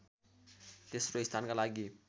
तेस्रो स्थानका लागि